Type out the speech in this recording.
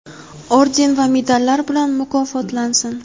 orden va medallar bilan mukofotlansin:.